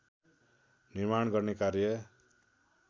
निर्माण गर्ने कार्य